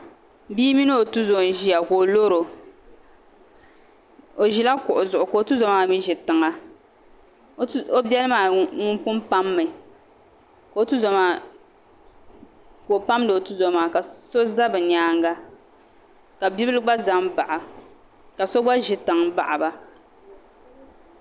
Bia mini o tuzo n ʒiya ka o loro o ʒila kuɣu zuɣu ka o tuzo maa mii ʒi tiŋa o biɛli maa ŋun pun pammi ka o pamdi o tuzo maa ka so ʒɛ bi nyaanga ka bibil gba ʒɛ n baɣa o ka so gba ʒi tiŋ baɣaba